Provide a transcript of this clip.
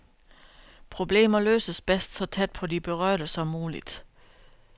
Problemer løses bedst så tæt på de berørte som muligt.